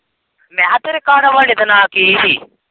ਮੈਂ ਕਿਹਾ ਤੇਰੇ ਘਰਵਾਲੇ ਦਾ ਨਾਂ ਕੀ ਹੀ?